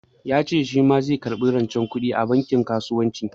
Ya ce shi ma zai karɓi rancen kuɗi a bankin kasuwanci.